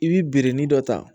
I bi biriki dɔ ta